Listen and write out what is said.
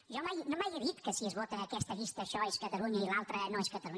jo mai he dit que si es vota aquesta llista això és catalunya i l’altra no és catalunya